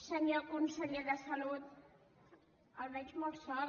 senyor conseller de salut el veig molt sol